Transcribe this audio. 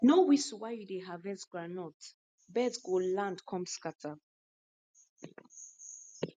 no whistle while you dey harvest groundnut birds go land come scatter